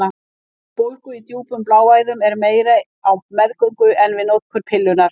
Hætta á bólgu í djúpum bláæðum er meiri á meðgöngu en við notkun pillunnar.